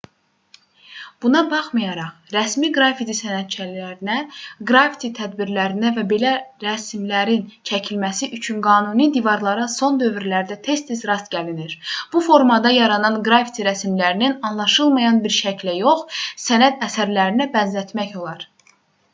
buna baxmayaraq rəsmi qrafiti sənətçilərinə qrafiti tədbirlərinə və belə rəsmlərin çəkilməsi üçün qanuni divarlara son dövrlərdə tez-tez rast gəlinir bu formada yaranan qrafiti rəsmlərini anlaşılmayan bir şəklə yox sənət əsərlərinə bənzətmək olar